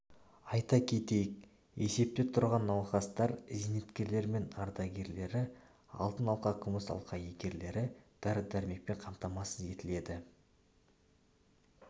айта кетейік есепте тұрған науқастар зейнеткерлер мен ардагерлері алтын алқа күміс алқа иегерлері дәрі-дәрмекпен қамтамасыз етіледі